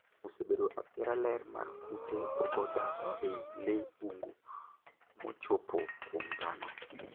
obedo athiara ler mar kute ogo dak ei lee bungu mochope kuom dhano